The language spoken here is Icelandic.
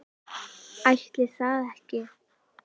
Ætli það ekki.